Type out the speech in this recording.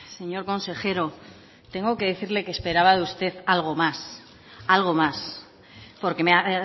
señor consejero tengo que decirle que esperaba de usted algo más algo más porque me ha